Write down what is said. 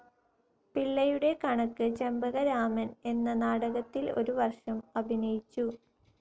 പിള്ളയുടെ കണക്ക്‌ ചെമ്പകരാമൻ എന്ന നാടകത്തിൽ ഒരു വർഷം അഭിനയിച്ചു.